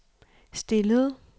stillede